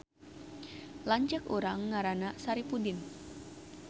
Lanceuk urang ngaranna Saripudin